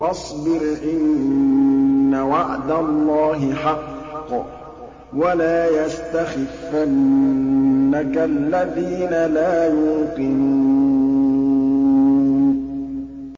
فَاصْبِرْ إِنَّ وَعْدَ اللَّهِ حَقٌّ ۖ وَلَا يَسْتَخِفَّنَّكَ الَّذِينَ لَا يُوقِنُونَ